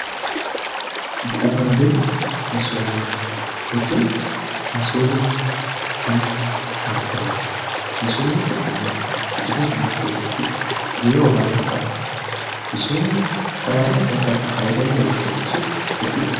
Bu'uraalee misoomaa hojiin misooma ni argama misoomni tokko immoo guddina biyyaa keessatti ga'e olaanaa qaba. Misoomni karaalee addaa addaatii faayyidaalee argamsiisu hedduudha.